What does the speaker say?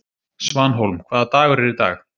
Svanhólm, hvaða dagur er í dag?